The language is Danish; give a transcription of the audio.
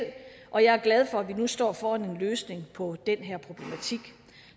og jeg er glad for at vi nu står foran en løsning på den her problematik